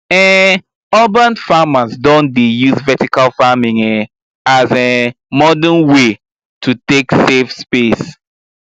um urban farmers don dey use vertical farming um as um modern way to take save space